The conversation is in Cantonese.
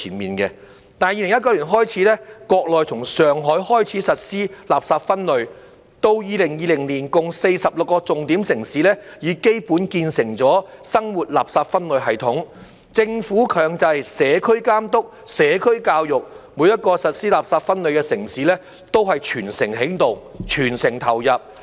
不過，從2019年開始，國內從上海開始實施垃圾分類，到2020年共46個重點城市已基本建成了生活垃圾分類系統，政府強制社區監督、社會教育，每一個實施垃圾分類的城市都是全城起動，全城投入。